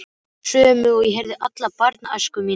Sömu og ég heyrði alla barnæskuna mína.